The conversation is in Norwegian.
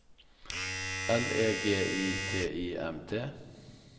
L E G I T I M T